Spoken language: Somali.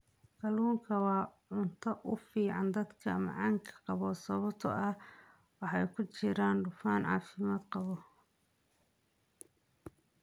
Kalluunku waa cunto u fiican dadka macaanka qaba sababtoo ah waxa ku jira dufan caafimaad qaba.